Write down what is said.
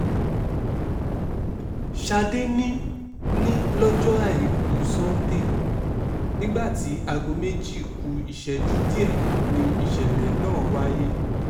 ṣadé ni ni lọ́jọ́ àìkú sanńdé um nígbà tí aago méjì um ku ìṣẹ́jú díẹ̀ ni ìṣẹ̀lẹ̀ náà wáyé